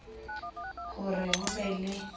ho re ho be le